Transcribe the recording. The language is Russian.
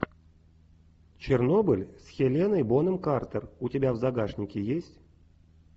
чернобыль с хеленой бонем картер у тебя в загашнике есть